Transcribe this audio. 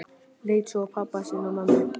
Leit svo á pabba sinn og mömmu.